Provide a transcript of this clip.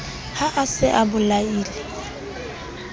ha a se a bolaile